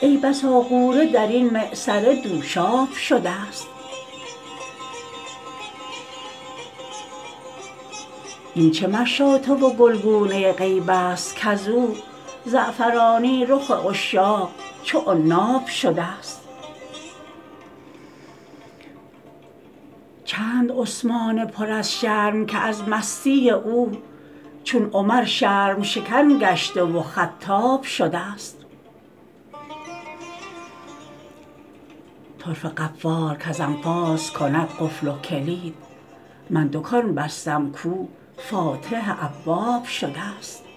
ای بسا غوره در این معصره دوشاب شدست این چه مشاطه و گلگونه غیب است کز او زعفرانی رخ عشاق چو عناب شدست چند عثمان پر از شرم که از مستی او چون عمر شرم شکن گشته و خطاب شدست طرفه قفال کز انفاس کند قفل و کلید من دکان بستم کو فاتح ابواب شدست